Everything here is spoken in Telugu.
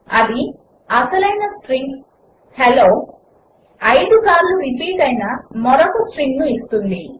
అది అసలైన స్ట్రింగ్ హెల్లో 5 సార్లు రిపీట్ అయిన మరొక స్ట్రింగ్ ఇస్తుంది